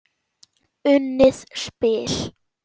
Unnið spil.